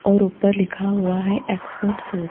और ऊपर लिखा हुआ है एक्सपोर्ट शूस ।